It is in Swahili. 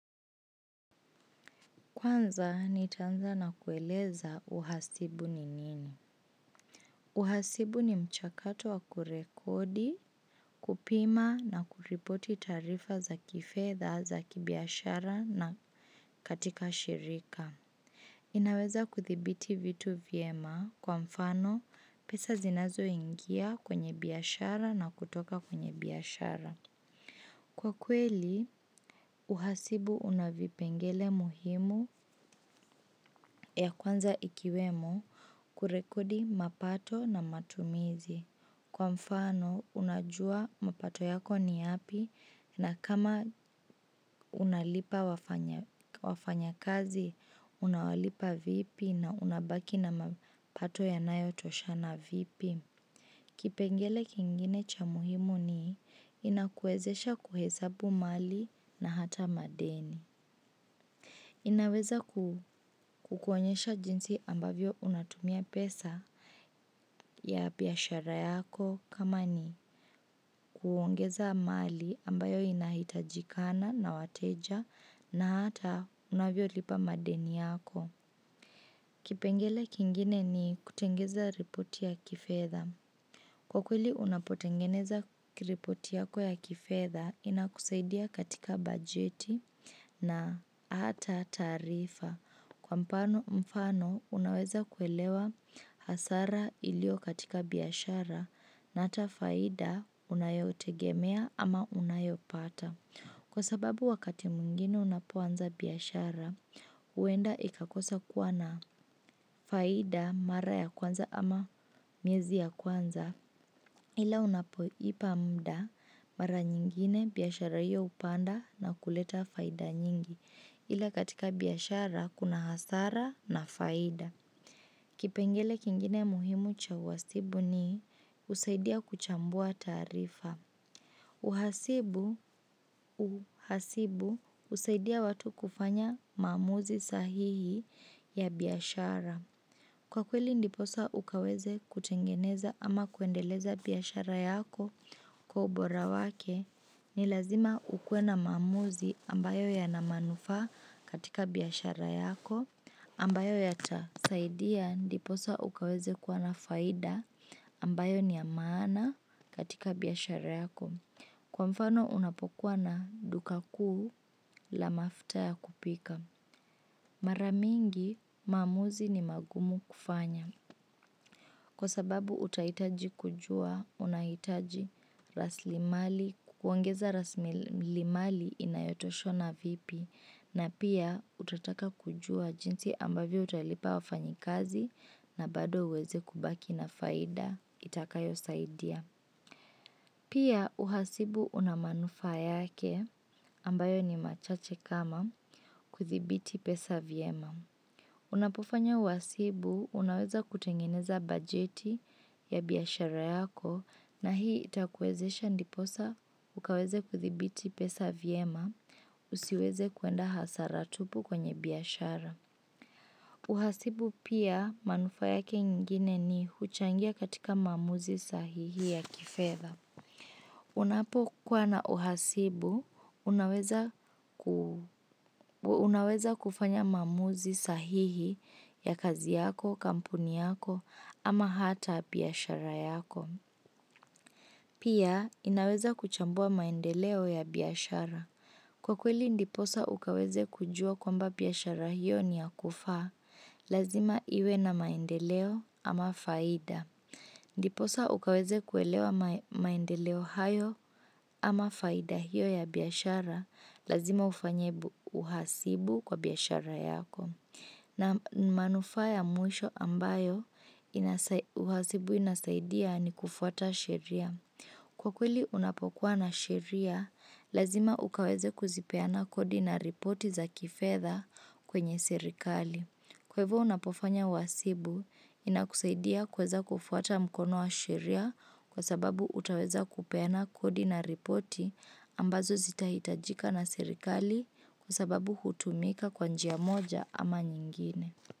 Kwanza, nitaanza na kueleza uhasibu ni nini. Uhasibu ni mchakato wa kurekodi, kupima na kuripoti taarifa za kifedha za kibiashara na katika shirika. Inaweza kuthibiti vitu vyema kwa mfano pesa zinazoingia kwenye biashara na kutoka kwenye biashara. Kwa kweli, uhasibu una vipengele muhimu ya kwanza ikiwemo kurekodi mapato na matumizi. Kwa mfano, unajua mapato yako ni yapi na kama unalipa wafanyakazi, unawalipa vipi na unabaki na mapato yanayotoshana vipi. Kipengele kingine cha muhimu ni inakuwezesha kuhesabu mali na hata madeni. Inaweza kukuonyesha jinsi ambavyo unatumia pesa ya biashara yako kama ni kuongeza mali ambayo inahitajikana na wateja na hata unavyolipa madeni yako. Kipengele kingine ni kutengeza ripoti ya kifedha. Kwa kweli unapotengeneza ripoti yako ya kifedha inakusaidia katika bajeti na hata taarifa. Kwa mfano unaweza kuelewa hasara ilio katika biashara na hata faida unayotegemea ama unayopata. Kwa sababu wakati mwingine unapoanza biashara, huenda ikakosa kuwa na faida mara ya kwanza ama miezi ya kwanza, ila unapoipa muda mara nyingine biashara hiyo hupanda na kuleta faida nyingi, ila katika biashara kuna hasara na faida. Kipengele kingine muhimu cha uhasibu ni husaidia kuchambua taarifa. Uhasibu, uhasibu, husaidia watu kufanya maamuzi sahihi ya biashara. Kwa kweli ndiposa ukaweze kutengeneza ama kuendeleza biashara yako kwa ubora wake, ni lazima ukuwe na maamuzi ambayo yana manufaa katika biashara yako ambayo yatasaidia ndiposa ukaweze kuwa na faida ambayo ni ya maana katika biashara yako. Kwa mfano unapokuwa na duka kuu la mafuta ya kupika. Mara mingi maamuzi ni magumu kufanya. Kwa sababu utahitaji kujua unahitaji raslimali kukuongeza raslimali inayotoshana vipi na pia utataka kujua jinsi ambavyo utalipa wafanyikazi na bado uweze kubaki na faida itakayosaidia. Pia uhasibu una manufaa yake ambayo ni machache kama kuthibiti pesa vyema. Unapofanya uhasibu unaweza kutengineza bajeti ya biashara yako na hii itakuwezesha ndiposa ukaweze kuthibiti pesa vyema. Usiweze kuenda hasara tupu kwenye biashara. Uhasibu pia, manufaa yake ingine ni huchangia katika maamuzi sahihi ya kifedha. Unapokuwa na uhasibu unaweza kufanya maamuzi sahihi ya kazi yako, kampuni yako ama hata biashara yako. Pia inaweza kuchambua maendeleo ya biashara. Kwa kweli ndiposa ukaweze kujua kwamba biashara hiyo ni ya kufaa, lazima iwe na maendeleo ama faida. Ndiposa ukaweze kuelewa maendeleo hayo ama faida hiyo ya biashara, lazima ufanye uhasibu kwa biashara yako. Na manufaa ya mwisho ambayo uhasibu inasaidia ni kufuata sheria. Kwa kweli unapokuwa na sheria, lazima ukaweze kuzipeana kodi na ripoti za kifedha kwenye serikali. Kwa hivo unapofanya uhasibu, inakusaidia kuweza kufuata mkono wa sheria kwa sababu utaweza kupeana kodi na ripoti ambazo zitahitajika na serikali kwa sababu hutumika kwa njia moja ama nyingine.